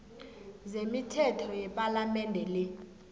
zemithetho yepalamende le